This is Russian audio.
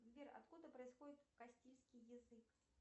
сбер откуда происходит кастильский язык